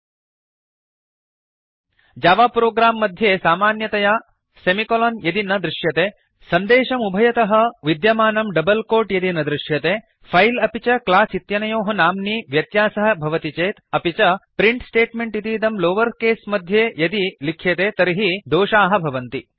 1 Java program मध्ये सामान्यतया semicolon यदि न दृश्यते सन्देशम् उभयतः विद्यमानं डबल् कोट् यदि न दृश्यते फैल् अपि च क्लास् इत्यनयोः नाम्नि व्यत्यास्यः भवति चेत् अपि च प्रिंट् स्टेट्मेंट् इतीदं लोवर् केस् मध्येयदि लिख्यते तर्हि दोषाः भवन्ति